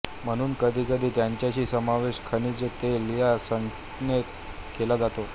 म्हणून कधीकधी त्यांचाही समावेश खनिज तेल या संज्ञेत केला जातो